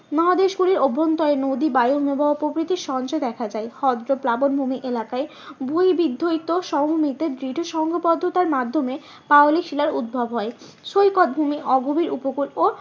মহাদেশ গুলির অভ্যন্তরে নদী বায়ু হিমবাহ প্রভৃতি দেখা যায়। হৃদ্য প্লাবন ভূমি এলাকায় সমভূমিতে দৃঢ় সংজ্ঞবদ্ধতার মাধ্যমে পাললিক শিলার উদ্ভব হয়। সৈকত ভূমি অগভীর উপকূল ও